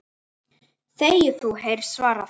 Þegi þú! heyrist svarað.